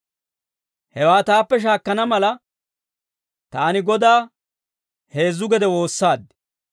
Hewaa taappe shaakkana mala, taani Godaa heezzu gede woossaad.